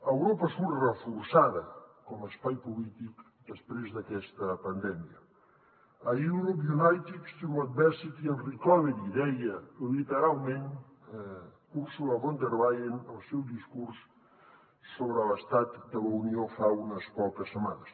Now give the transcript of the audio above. europa surt reforçada com a espai polític després d’aquesta pandèmia a europe united through adversity and recovery deia literalment ursula von der leyen al seu discurs sobre l’estat de la unió fa unes poques setmanes